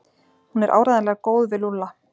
Hún er áreiðanlega góð við Lúlla.